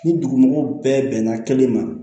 Ni dugumɔgɔw bɛɛ bɛnna kelen ma